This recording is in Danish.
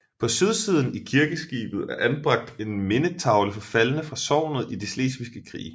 På sydsiden i kirkeskibet er anbragt en mindetavle for faldne fra sognet i de Slesviske Krige